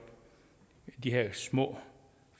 de her små